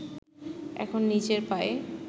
এখন নিজের পায়ে